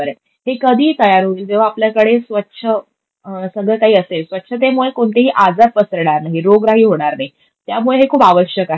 हे कधी तयार होईल? जेव्हा आपल्याकडे स्वच्छ सगळं काही असेल. स्वच्छतेमुळे कोणतेही आजार पासरणार नाई, रोगराई होणार नाई. त्यामुळे हे खूप आवश्यक आहे.